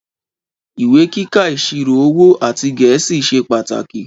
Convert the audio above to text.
Ìwé kíkà ìsírò òwó àtí gẹẹsí sẹ pàtákí.